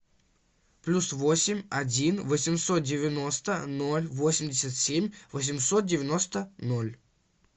плюс восемь один восемьсот девяносто ноль восемьдесят семь восемьсот девяносто ноль